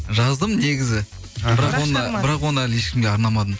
жаздым негізі бірақ оны әлі ешкімге арнамадым